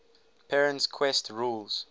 perrin's quest rules